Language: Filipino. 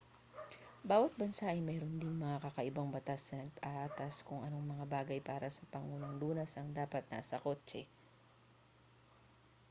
bawat bansa ay mayroon ding mga kakaibang batas na nag-aatas kung anong mga bagay para sa pangunang lunas ang dapat nasa kotse